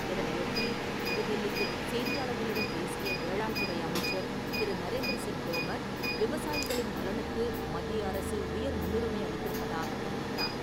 இதனையொட்டி புது தில்லியில் செய்தியாளர்களிடம் பேசிய வேளாண்துறை அமைச்சர் திரு. நரேந்திர சிங் தோமர், விவசாயிகளின் நலனுக்கு மத்திய அரசு உயர் முன்னுரிமை அளித்திருப்பதாகத் தெரிவித்தார்.